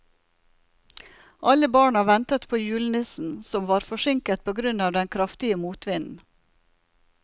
Alle barna ventet på julenissen, som var forsinket på grunn av den kraftige motvinden.